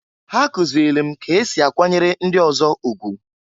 Ha kụzịlị m k'esi akwanyere ndị ọzọ ugwu.